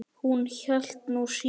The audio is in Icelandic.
Hún hélt nú síður.